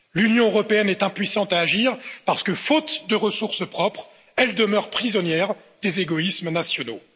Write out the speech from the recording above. L'Union européenne est impuissante à agir parce que, faute de ressources propres, elle demeure prisonnière des égoïsmes nationaux.